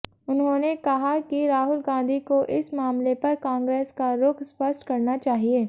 उन्होंने कहा कि राहुल गांधी को इस मामले पर कांग्रेस का रुख स्पष्ट करना चाहिए